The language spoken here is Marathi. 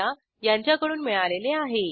यासंबंधी माहिती पुढील साईटवर उपलब्ध आहे